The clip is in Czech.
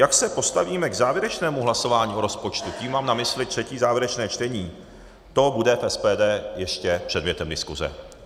Jak se postavíme k závěrečnému hlasování o rozpočtu, tím mám na mysli třetí, závěrečné čtení, to bude v SPD ještě předmětem diskuse.